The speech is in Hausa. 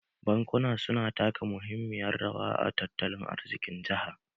Bankuna su na taka muhimmiyan rawa a tattalin arzikin jaha